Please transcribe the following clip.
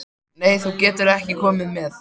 Nei, þú getur ekki komið með.